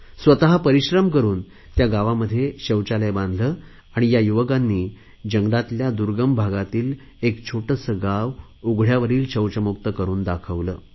स्वत परिश्रम करुन त्या गावात शौचालय बांधले आणि या युवकांनी जंगलातल्या दुर्गम भागातील एक छोटेसे गाव उघडयावरील शौचमुक्त करुन दाखवले